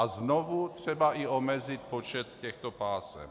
A znovu třeba i omezit počet těchto pásem.